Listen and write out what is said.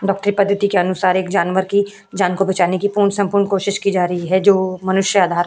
डॉक्टरी पद्धति के अनुसार एक जानवर की जान को बचाने की पूर्ण सम्पूर्ण कोशिश की जा रही है जो मनुष्य आधार --